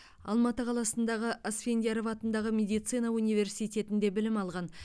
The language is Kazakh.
алматы қаласындағы асфендияров атындағы медицина университетінде білім алған